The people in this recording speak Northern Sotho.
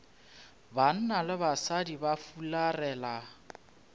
banna le basadi ba fularela